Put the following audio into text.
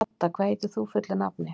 Hadda, hvað heitir þú fullu nafni?